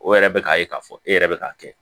O yɛrɛ bɛ k'a ye k'a fɔ e yɛrɛ bɛ k'a kɛ